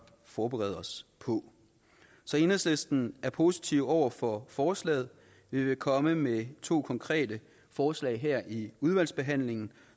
forberede os på så enhedslisten er positiv over for forslaget vi vil komme med to konkrete forslag her i udvalgsbehandlingen